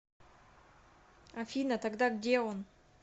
афина тогда где он